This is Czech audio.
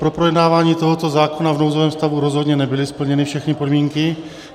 Pro projednání tohoto zákona v nouzovém stavu rozhodně nebyly splněny všechny podmínky.